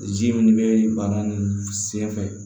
Zi min bɛ baara ninnu senfɛ